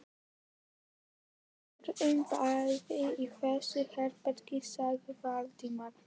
Við verðum báðir í þessu herbergi sagði Valdimar.